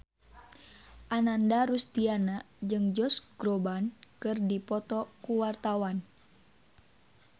Ananda Rusdiana jeung Josh Groban keur dipoto ku wartawan